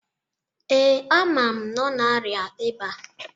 Ee, amam na ọ na-arịa ịba